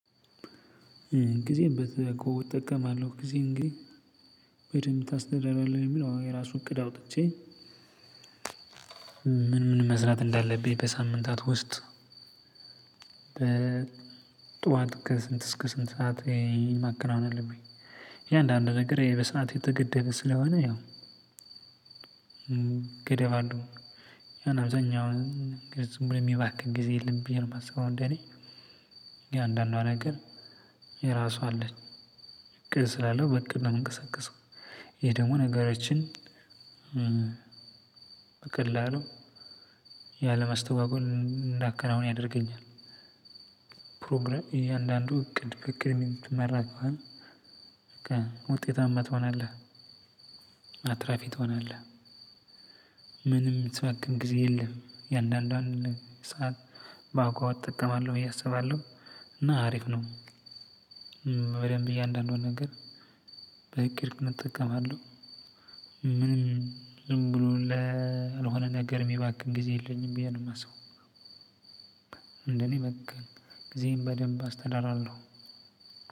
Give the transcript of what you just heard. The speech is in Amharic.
ጊዜን በተጠቀምኩት ጊዜ እንግዲህ በደንብ ታስደራሪዋለህ የሚለው አሁን የራሱ እቅድ አውጥቼ ምን ምን መስራት እንዳለብኝ በሳምንታት ውስጥ በጧት ከስንት እስከ ስንት ሰዓት ይሄን ማከናወን አለብኝ። እያንዳንዱ ነገር ይሄ በሰአት የተገደበ ስለሆነ ያው ገደባለው ያን አብዛኛው ዝም ብሎ የሚባክን ጊዜ የለም ብዬ ነው የማስበው። እንደኔ እያንዳንዷ ነገር የራሱ አለች እቅድ ስላለው በእቅድ ነው የምንቀሳቀሰው። ይሄ ደግሞ ነገሮችን በቀላሉ ያለ ማስተጓጎል አንዳከናውን ያደርገኛል። ፕሮግራም እያንዳንዱ እቅድ በ እቅድ የሚመራ ከሆነ በቃ ውጤታማ ትሆናለህ። አትራፊ ትሆናለህ። ምንም የምትባክን ጊዜ የለም እያንዳንዷን ሰዓት በአግባቡ እጠቀማለህ ብዬ አስባለሁ። እና አሪፍ ነው። በደንብ እያንዳንዱን ነገር በእቅድ እጠቀማለሁ። ምንም ዝም ብሎ ለ ለሆነ ነገር የሚባክን ጊዜ የለኝም ብዬ ነው የማስበው። እንደኔ በቃ ጊዜዬን በደንብ አስተዳዳራለሁ።